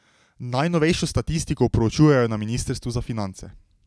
Najnovejšo statistiko proučujejo na ministrstvu za finance.